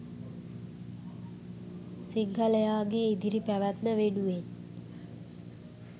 සිංහලයාගේ ඉදිරි පැවැත්ම වෙනුවෙන්.